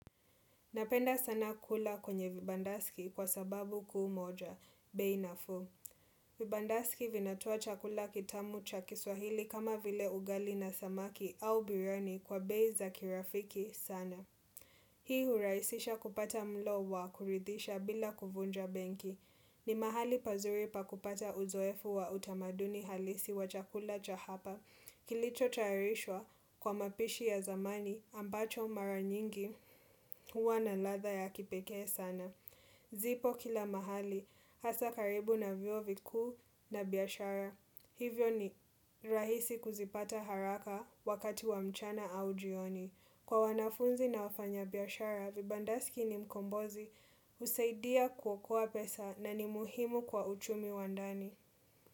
Napenda sana kula kwenye vibandaski kwa sababu kuu moja, bei nafuu. Vibandaski vinatoa chakula kitamu cha kiswahili kama vile ugali na samaki au biriani kwa bei za kirafiki sana. Hii huraisisha kupata mlo wa kuridhisha bila kuvunja benki. Ni mahali pazuri pakupata uzoefu wa utamaduni halisi wa chakula cha hapa. Kilicho tayarishwa kwa mapishi ya zamani ambacho mara nyingi huwa na ladha ya kipekee sana. Zipo kila mahali, hasa karibu na vyuo vikuu na biashara. Hivyo ni rahisi kuzipata haraka wakati wa mchana au jioni. Kwa wanafunzi na wafanya biashara, vibandasiki ni mkombozi husaidia kuokoa pesa na ni muhimu kwa uchumi wa ndani.